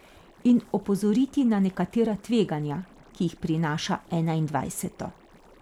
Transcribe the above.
In opozoriti na nekatera tveganja, ki jih prinaša enaindvajseto.